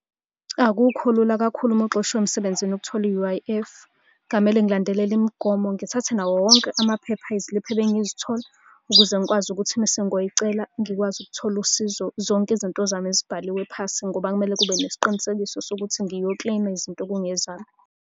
Akukho lula kakhulu uma uxoshiwe emsebenzini ukuthola i-U_I_F. Kungamele ngilandelele imigomo, ngithathe nawo wonke amaphepha, iziliphu ebengizithola, ukuze ngikwazi ukuthi mese ngiyoyicela ngikwazi ukuthola usizo. Zonke izinto zami zibhaliwe phasi, ngoba kumele kube nesiqinisekiso sokuthi ngiyokileyma izinto okungezami.